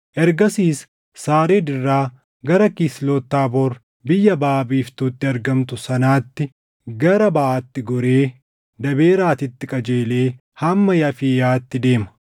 Ergasiis Saariid irraa gara Kisloti Taaboor biyya baʼa biiftuutti argamtu sanaatti gara baʼaatti goree Daaberaatitti qajeelee hamma Yaafiiyaatti deema.